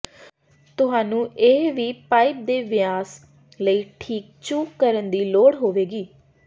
ਤੁਹਾਨੂੰ ਇਹ ਵੀ ਪਾਈਪ ਦੇ ਵਿਆਸ ਲਈ ਠੀਕ ਚੁੱਕ ਕਰਨ ਦੀ ਲੋੜ ਹੋਵੇਗੀ